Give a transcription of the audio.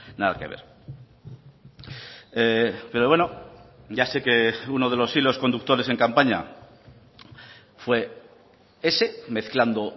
nada que ver pero bueno ya sé que uno de los hilos conductores en campaña fue ese mezclando